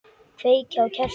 Kveiki á kertum.